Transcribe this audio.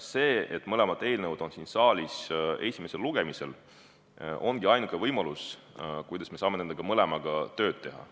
See, et mõlemad eelnõud on siin saalis esimesel lugemisel, ongi ainuke võimalus, kuidas me saame nende mõlemaga tööd teha.